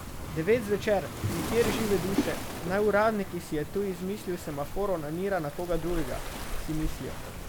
Devet zvečer, nikjer žive duše, naj uradnik, ki si je tu izmislil semafor, onanira na koga drugega, si mislijo.